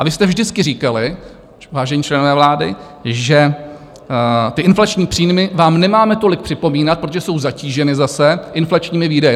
A vy jste vždycky říkali, vážení členové vlády, že ty inflační příjmy vám nemáme tolik připomínat, protože jsou zatíženy zase inflačními výdaji.